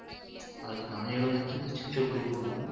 ಅದುಕ್ ನಾ ಹೇಳೋದಂದ್ರೆ ಶಿಕ್ಷಕರು ಕೂಡ